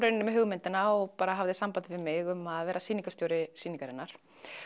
með hugmyndina og bara hafði samband við mig um að vera sýningarstjóri sýningarinnar